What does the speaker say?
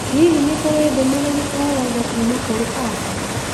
Hihi nĩ kũrĩ ndũmĩrĩri o yothe kuuma kũrĩ Asa?